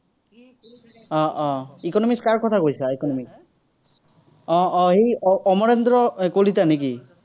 আহ আহ economics কাৰ কথা কৈছা, economics? উম উম এই অমৰেন্দ্ৰ কলিতা নেকি?